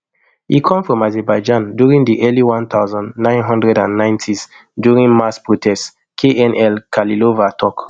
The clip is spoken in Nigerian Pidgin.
e come from azerbaijan during di early one thousand, nine hundred and ninetys during mass protests knl khalilova tok